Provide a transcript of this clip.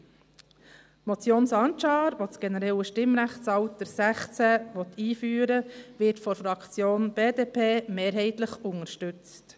Die Motion Sancar , welche das generelle Stimmrechtsalter 16 einführen will, wird von der Fraktion BDP mehrheitlich unterstützt.